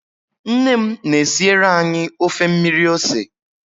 Nne m na-esiere anyị ofe mmiri ose